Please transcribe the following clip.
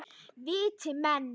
Viti menn!